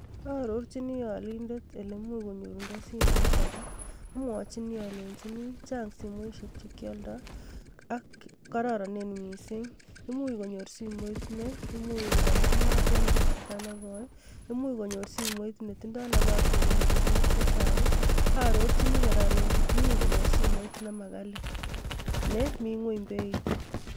Aarochin alindet elemuch konyorundo simoit ake amwochin alenchi chang simoisiek chekyoldo ak kororonen missing imuch konyor simoit neimuch kokonor mat en kasarta nekoi, imuch konyor simoit netindoo nafas nekonori tukuk chechang, aarochini kora alenchi imuch konyor simoit nemakali nemi ngweny beit.